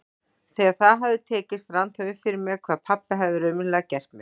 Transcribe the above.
Þegar það hafði tekist rann það upp fyrir mér hvað pabbi hafði raunverulega gert mér.